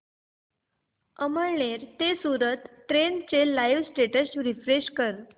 अमळनेर ते सूरत ट्रेन चे live status refresh कर